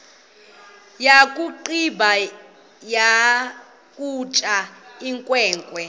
yakugqiba ukutya inkwenkwe